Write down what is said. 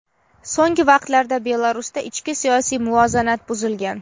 so‘nggi vaqtlarda Belarusda ichki siyosiy muvozanat buzilgan.